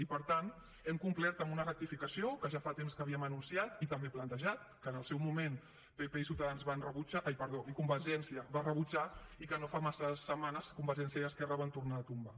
i per tant hem complert amb una rectificació que ja fa temps que havíem anunciat i també plantejat que en el seu moment pp i convergència van rebutjar i que no fa massa setmanes convergència i esquerra van tornar a tombar